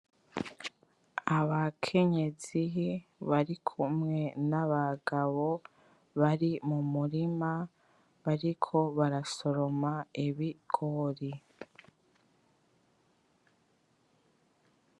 Abakenyezi barikumwe n’abagabo bari mu murima bariko barasoroma ibigori.